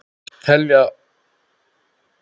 Þetta teljum við óþarft.